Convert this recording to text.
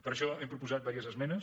per això hem proposat diverses esmenes